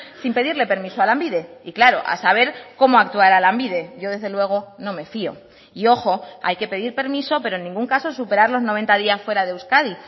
sin pedirle permiso a lanbide y claro a saber cómo actuará lanbide yo desde luego no me fío y ojo hay que pedir permiso pero en ningún caso superar los noventa días fuera de euskadi